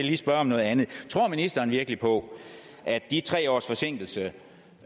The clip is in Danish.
lige spørge om noget andet tror ministeren virkelig på at de tre års forsinkelse